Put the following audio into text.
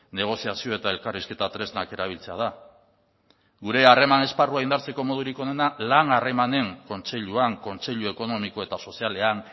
negoziazio eta elkarrizketa tresnak erabiltzea da gure harreman esparrua indartzeko modurik onena lan harremanen kontseiluan kontseilu ekonomiko eta sozialean